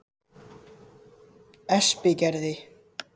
Espigerði